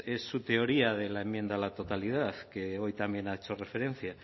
es su teoría de la enmienda a la totalidad que hoy también ha hecho referencia